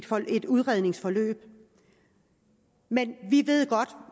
får de et udredningsforløb men vi ved godt